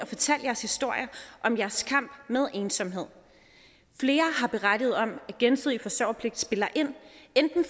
fortalt jeres historier om jeres kamp med ensomhed flere har berettet om at gensidig forsørgerpligt spiller ind